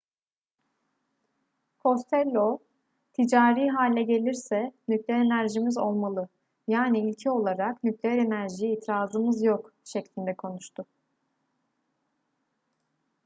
costello ticari hale gelirse nükleer enerjimiz olmalı yani ilke olarak nükleer enerjiye itirazımız yok şeklinde konuştu